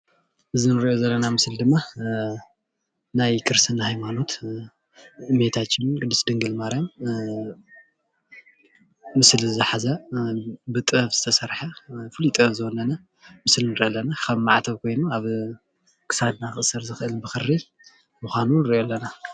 እዚ ንሪኦ ዘለና ድማ ናይ ክርስትና ሃይማኖትን እመቤታችን ድንግል ማርያም ምስሊ ዝሓዘ ብጥበብ ዝተሰርሐ ፍሉይ ጥበብ ዝወነነ ከም ማዕተብ አብ ክሳድ ክእሰር ብኽሪ ዝኸል ምኻኑ ንሪኦ አለና።